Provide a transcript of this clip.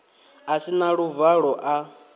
a si na luvalo a